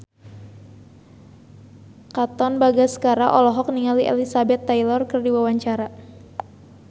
Katon Bagaskara olohok ningali Elizabeth Taylor keur diwawancara